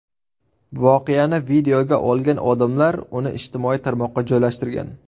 Voqeani videoga olgan odamlar uni ijtimoiy tarmoqqa joylashtirgan.